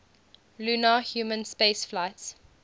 lunar human spaceflights